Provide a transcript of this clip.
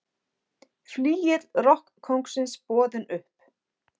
Flygill rokkkóngsins boðinn upp